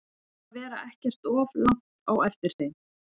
Við ætlum að vera ekkert of langt á eftir þeim.